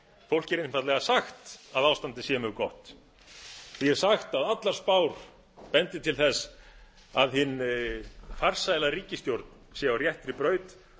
fólki er einfaldlega sagt að ástandið sé mjög gott því er sagt að ástandið sé mjög gott því er sagt að allar spár bendi til þess að hin farsæla ríkisstjórn sé á réttri braut